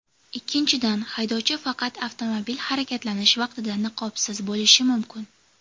Ikkinchidan, haydovchi faqat avtomobil harakatlanish vaqtida niqobsiz bo‘lishi mumkin.